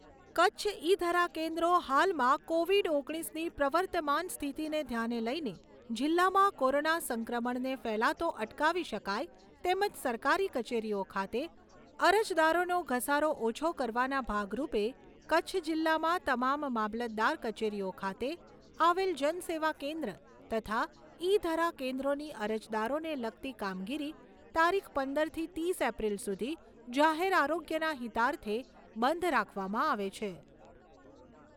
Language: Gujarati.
કચ્છ ઈ ધરા કેન્દ્રો હાલમાં કોવીડ ઓગણીસની પ્રવર્તમાન સ્થિતિને ધ્યાને લઈને જિલ્લામાં કોરોના સંક્રમણને ફેલાતો અટકાવી શકાય તેમજ સરકારી કચેરીઓ ખાતે અરજદારોનો ઘસારો ઓછો કરવાના ભાગરૂપે કચ્છ જિલ્લામાં તમામ મામલતદાર કચેરીઓ ખાતે આવેલ જન સેવા કેન્દ્ર તથા ઈ ધરા કેન્દ્રોની અરજદારોને લગતી કામગીરી તારીખ પંદરથી ત્રીસ એપ્રિલ સુધી જાહેર આરોગ્યના હિતાર્થે બંધ રાખવામાં આવે છે.